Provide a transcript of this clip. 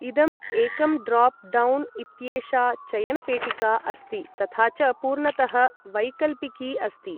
इदम् एकं drop down इत्येषा चयनपेटिका अस्ति तथा च पूर्णतः वैकल्पिकी अस्ति ।